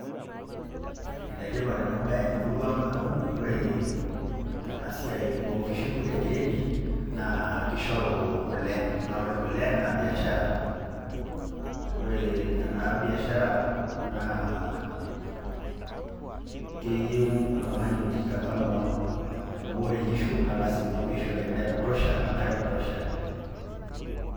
Enetipat enabaye temuruang' amu oree enasiai oonkishu egiredi naa keishoru kole naa kore naa  biashara. Oree ena biashara naa keyeu oltung'ani oijikakamua amu ore nkishu naa lasima peeishori endaa ekutosha oenkare ekutosha.